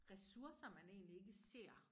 Resurser man egentlig ikke ser